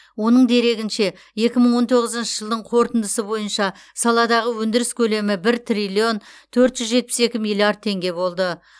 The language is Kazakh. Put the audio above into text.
оның дерегінше екі мың он тоғызыншы жылдың қорытындысы бойынша саладағы өндіріс көлемі бір триллион төрт жүз жетпіс екі миллиард теңге болды